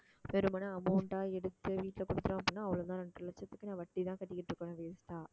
வெறுமனே amount ஆ எடுத்து வீட்டுல குடுத்தோம் அப்படின்னா அவ்வளவுதான் இரண்டரை லட்சத்துக்கு, நான் வட்டிதான் கட்டிக்கிட்டு இருப்பேன் waste ஆ